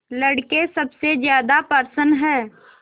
लड़के सबसे ज्यादा प्रसन्न हैं